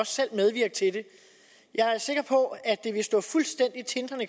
selv medvirke til det jeg er sikker på at det vil stå fuldstændig tindrende